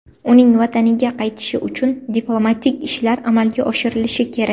Uning vataniga qaytishi uchun diplomatik ishlar amalga oshirilishi kerak.